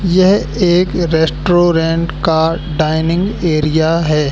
यह एक रेस्टोरेंट का डाइनिंग एरिया हैं।